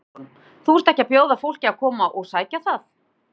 Sighvatur Jónsson: Þú ert ekki að bjóða fólki að koma og sækja það?